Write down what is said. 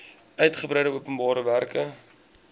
uitgebreide openbare werke